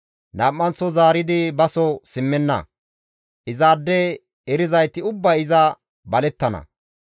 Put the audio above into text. Nam7anththo zaaridi baso simmenna; izaade erizayti ubbay iza balettana.